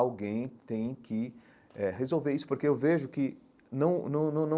Alguém tem que eh resolver isso, porque eu vejo que não não não não.